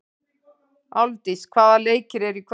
Álfdís, hvaða leikir eru í kvöld?